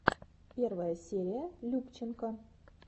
первая серия любченко